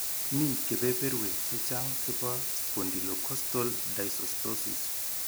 Mi kebeberwek chechang' chebo Spondylocostal dysostosis.